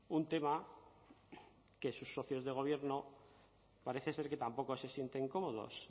un tema que sus socios de gobierno parece ser que tampoco se sienten cómodos